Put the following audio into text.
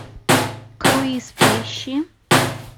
круиз поищи